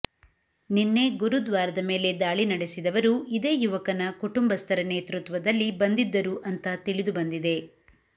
ನಿನ್ನೆ ಗುರುದ್ವಾರದ ಮೇಲೆ ದಾಳಿ ನಡೆಸಿದವರು ಇದೇ ಯುವಕನ ಕುಟುಂಬಸ್ಥರ ನೇತೃತ್ವದಲ್ಲಿ ಬಂದಿದ್ದರು ಅಂತ ತಿಳಿದುಬಂದಿದೆ